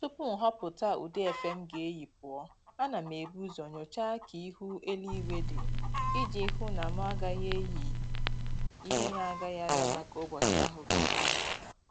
Tupu m ghọpụta ụdị efe m ga-eyi pụọ, ana m ebu ụzọ nyochaa ka ihu eluigwe dị iji hụ na mụ agaghị eyị ihe na-agaghị adaba ka ụbọchị ahụ ga-adị